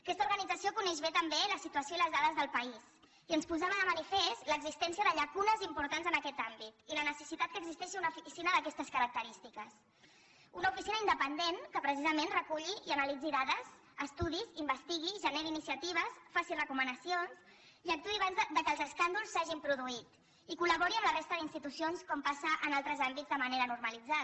aquesta organització coneix bé també la situació i les dades del país i ens posava de manifest l’existència de llacunes importants en aquest àmbit i la necessitat que existeixi una oficina d’aquestes característiques una oficina independent que precisament reculli i analitzi dades estudis investigui generi iniciatives faci recomanacions i actuï abans que els escàndols s’hagin produït i que col·labori amb la resta d’institucions com passa en altres àmbits de manera normalitzada